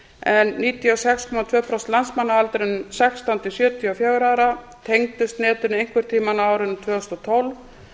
en níutíu og sex komma tvö prósent landsmanna á aldrinum sextán til sjötíu og fjögurra ára tengdust netinu einhvern tímann á árinu tvö þúsund og tólf